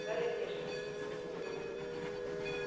гарри от неожиданности поперхнулся